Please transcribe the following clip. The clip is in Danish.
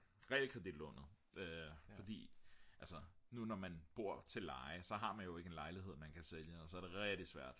realkreditlånet fordi nu hvor man bor til leje så har man jo ikke en lejlighed man kan sælge og så er det rigtig svært